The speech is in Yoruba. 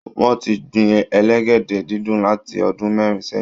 Wọ́n ti ń gbin elégédé-dídùn láti ọdún mẹ́rin sẹ́yìn